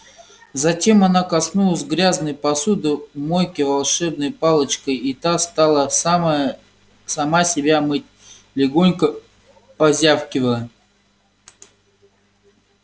затем она коснулась грязной посуды в мойке волшебной палочкой и та стала самая сама себя мыть легонько позвякивая